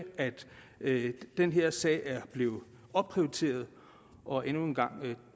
at den her sag er blevet opprioriteret og endnu en gang